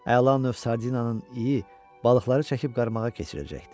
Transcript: Əla növ sardinanın iyi balıqları çəkib qarmağa keçirəcəkdi.